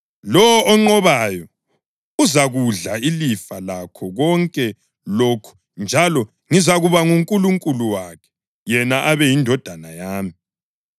Lowo onqobayo uzakudla ilifa lakho konke lokhu njalo ngizakuba nguNkulunkulu wakhe yena abe yindodana yami.